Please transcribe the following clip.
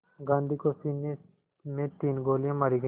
गांधी को सीने में तीन गोलियां मारी गईं